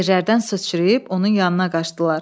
Yerlərdən sıçrayıb onun yanına qaçdılar.